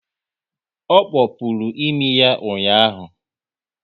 Ọ kpopuru imi ya ụnyaahụ